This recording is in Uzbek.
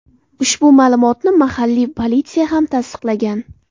Ushbu ma’lumotni mahalliy politsiya ham tasdiqlagan.